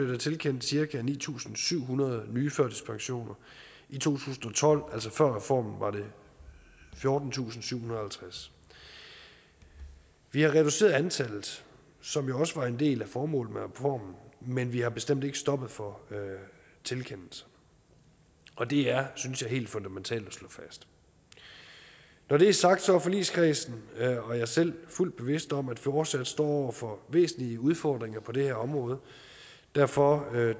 der tilkendt cirka ni tusind syv hundrede nye i to tusind og tolv altså før reformen var det fjortentusinde og syvhundrede og halvtreds vi har reduceret antallet som jo også var en del af formålet med reformen men vi har bestemt ikke stoppet for tilkendelser og det er synes jeg helt fundamentalt at slå fast når det er sagt er forligskredsen og jeg selv fuldt bevidst om at vi fortsat står over for væsentlige udfordringer på det her område og derfor